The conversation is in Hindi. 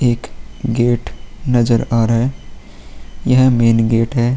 एक गेट नजर आ रहा है। यह मेन गेट है।